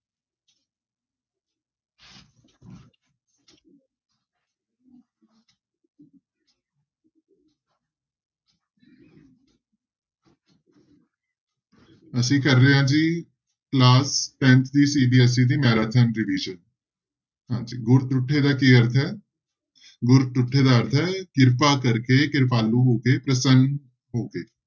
ਅਸੀਂ ਕਰ ਰਹੇ ਹਾਂ ਜੀ class tenth ਦੀ CBSE ਦੀ ਹਾਂਜੀ ਗੁਰ ਤੁੱਠੇ ਦਾ ਕੀ ਅਰਥ ਹੈ, ਗੁਰ ਤੁੱਠੇ ਦਾ ਅਰਥ ਹੈ ਕਿਰਪਾ ਕਰਕੇ ਕਿਰਪਾਲੂ ਹੋ ਕੇ ਪ੍ਰਸੰਨ ਹੋ ਕੇ।